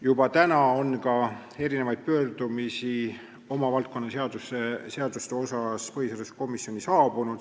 Juba nüüd on erinevaid pöördumisi valdkonnaseaduste kohta põhiseaduskomisjoni saabunud.